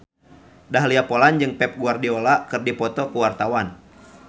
Dahlia Poland jeung Pep Guardiola keur dipoto ku wartawan